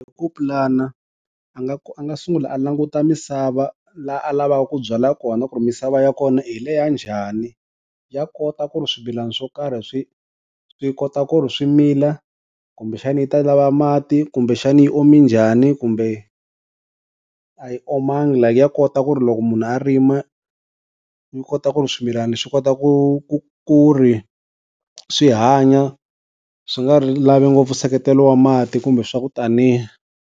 I ku pulana a nga a nga sungula a languta misava laha a lavaka ku byala kona ku ri misava ya kona hi le ya njhani, ya kota ku ri swimilana swo karhi swi swi kota ku ri swi mila, kumbe xani yi ta lava mati kumbe xani yi ome njhani kumbe a yi omangi la ya kota ku ri loko munhu a rima yi kota ku ri swimilana swi kota ku ku ku ri swi hanya swi nga ri lavi ngopfu nseketelo wa mati kumbe swa ku taniya.